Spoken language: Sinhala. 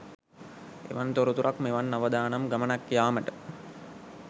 එවන් තොරතුරක් මෙවන් අවදානම් ගමනක් යාමට